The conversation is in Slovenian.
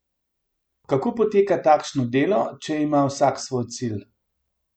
Kako poteka takšno delo, če ima vsak svoj cilj?